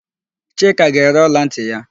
Chika ga-ere ọlantị ya.